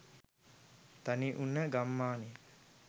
තනිවුන ගම්මානයක